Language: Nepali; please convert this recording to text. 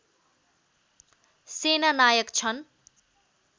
सेनानायक छन्